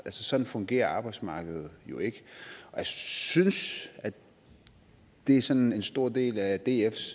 sådan fungerer arbejdsmarkedet jo ikke jeg synes det er sådan en stor del af dfs